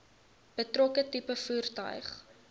betrokke tipe voertuig